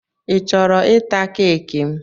I chọrọ ịta keeki m?